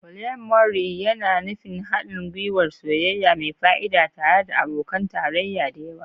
Polyamory yana nufin haɗin gwiwar soyayya mai fa'ida tare da abokan tarayya da yawa.